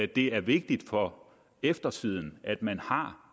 det er vigtigt for eftertiden at man har